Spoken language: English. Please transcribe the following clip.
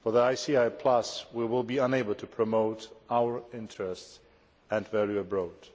For the ICI Plus, we will be unable to promote our interests and value abroad.